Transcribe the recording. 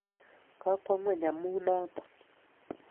kokwo ngweng amun noton